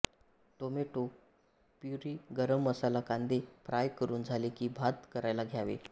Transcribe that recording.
tomato puree garam masala कांदे fry करून झाले कि भात कारायला घ्यावा